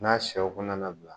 N'a shɛw kɔnɔna labila.